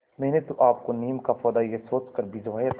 मैंने तो आपको नीम का पौधा यह सोचकर भिजवाया था